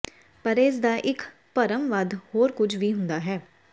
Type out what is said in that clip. ਪਰ ਇਸ ਦਾ ਇੱਕ ਭਰਮ ਵੱਧ ਹੋਰ ਕੁਝ ਵੀ ਹੁੰਦਾ ਹੈ